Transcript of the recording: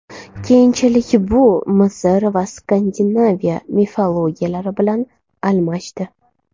Keyinchalik bu Misr va Skandinaviya mifologiyalari bilan almashdi.